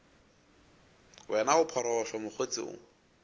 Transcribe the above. wena o phorogohlo mokgotse o